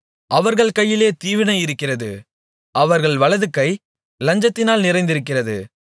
அவர்கள் கைகளிலே தீவினை இருக்கிறது அவர்கள் வலதுகை லஞ்சத்தினால் நிறைந்திருக்கிறது